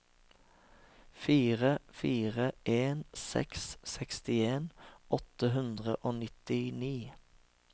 fire fire en seks sekstien åtte hundre og nittini